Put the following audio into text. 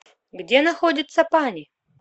где находится пани